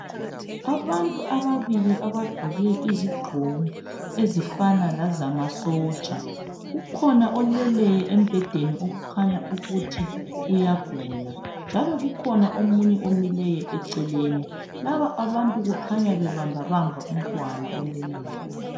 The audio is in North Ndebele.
Abantu ababili abagqoke izigqoko ezifana lezamasotsha. Kukhona oleleyo embhedeni okukhanya ukuthi uyagula njalo lomunye omileyo eceleni. Lababantu babambabamba umntwana oleleyo eceleni.